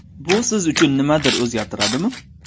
Bu siz uchun nimadir o‘zgartiradimi?